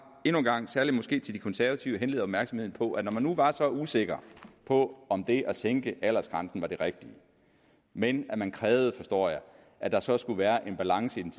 endnu en gang særlig måske til de konservative henlede opmærksomheden på at når man nu var så usikker på om det at sænke aldersgrænsen var det rigtige men man krævede forstår jeg at der så skulle være en balance i den